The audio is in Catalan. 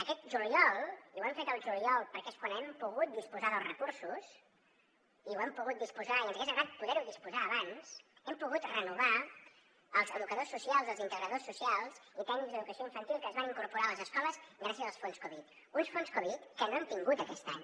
aquest juliol i ho hem fet el juliol perquè és quan hem pogut disposar dels recursos i n’hem pogut disposar i ens hagués agradat poder ne disposar abans hem pogut renovar els educadors socials els integradors socials i tècnics d’educació infantil que es van incorporar a les escoles gràcies als fons covid uns fons covid que no hem tingut aquest any